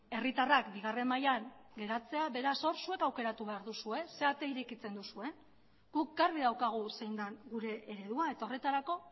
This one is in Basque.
herritarrak bigarren mailan geratzea beraz hor zuek aukera behar duzue ze ate irekitzen duzuen guk garbi daukagu zein den gure eredua eta horretarako